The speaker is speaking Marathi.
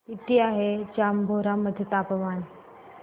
किती आहे जांभोरा मध्ये तापमान